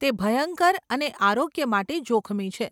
તે ભયંકર અને આરોગ્ય માટે જોખમી છે.